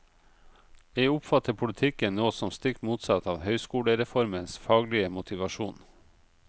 Jeg oppfatter politikken nå som stikk motsatt av høyskolereformens faglige motivasjon.